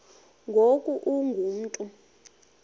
ngoku ungu mntu